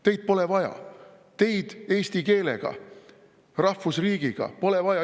Teid pole vaja, teid eesti keelega, rahvusriigiga pole vaja.